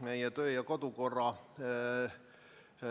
Meie töö- ja kodukorra